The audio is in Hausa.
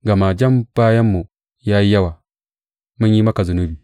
Gama jan bayanmu ya yi yawa; mun yi maka zunubi.